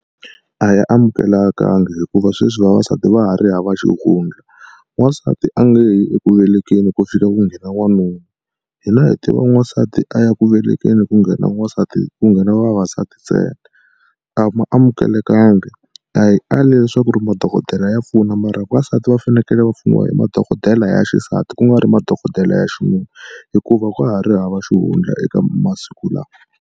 A ya amukelekangi hikuva sweswi vavasati va ha ri hava xihundla. N'wansati a nge yi eku velekeni ku fika ku nghena wanuna. Hina hi tiva n'wansati a ya ku velekeni ku nghena n'wansati ku nghena vavasati ntsena. A ma amukelekangi a hi ali leswaku ri madokodela ya pfuna mara vavasati va fanekele va pfuniwa hi madokodela ya xisati ku nga ri madokodela ya xinuna hikuva ka ha ri hava xihundla eka masiku lawa.